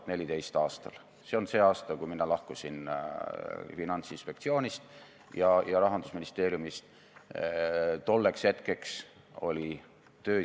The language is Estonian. Tema oli tõesti see, kes võttis rahvusvaheliselt sõna ja selgitas, mida sai teha ja mida tehti.